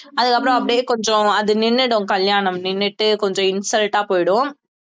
அதுக்கப்புறம் அப்படியே கொஞ்சம் அது நின்னுடும் கல்யாணம் நின்னுட்டு கொஞ்சம் insult ஆ போயிடும்